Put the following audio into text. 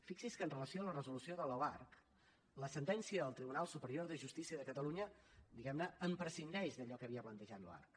fixi’s que amb relació a la resolució de l’oarcc la sentència del tribunal superior de justícia de catalunya diguem ne en prescindeix d’allò que havia plantejat l’oarcc